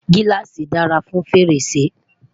giláasi dára fún fèrèsé